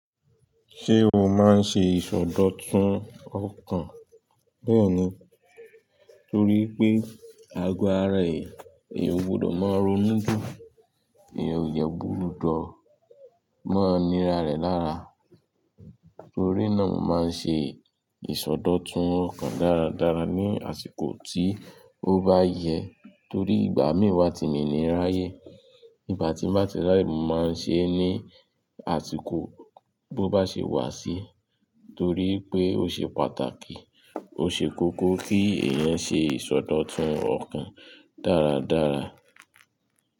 Ṣé o máa ń ṣe ìsọdọ̀tun ọkàn? Bẹ́ẹ̀ni, torí pé àgọ ara è, èyí ò gbọdọ̀ máa ronú jù, èyí ò dẹ gbúdọ, máa nira rẹ̀ lára. Torí náà, mo máa ń ṣe ìsọdọ̀tun ọkàn dáradára ní àsìkò tí ó bá yẹ. Torí ìgbà mí wá ti mìn wa to mi ni rááyé, ìgbà tí mba ti rááyé, mo máa ń ṣe é ní àsìkò bó bá ṣe wà sí. Torí pé ó ṣe pàtàkì, ó ṣe kókó kí èèyàn ṣe ìsọdọ̀tun ọkàn dáradára.